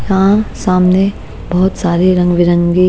यहाँ सामने बहुत सारे रंग बिरंगी--